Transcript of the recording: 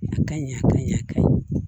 A ka ɲi a ka ɲɛ ka ɲɛ